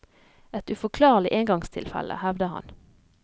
Et uforklarlig engangstilfelle, hevder han.